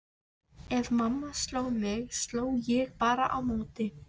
Ef mamma sló mig sló ég bara á móti.